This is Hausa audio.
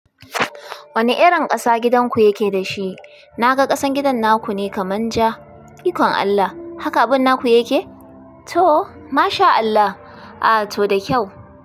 Wane irin ƙasa gidanku yake da shi? Na ga ƙasan gidan naku ne kaman ja. Ikon Allah, haka abin naku yake? To! Masha Allah, a to da kyau.